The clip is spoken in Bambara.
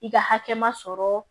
I ka hakɛ ma sɔrɔ